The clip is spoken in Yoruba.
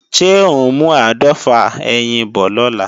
Ṣé ò ń mú áàdọ́fà ẹyin bọ̀ lọ́la?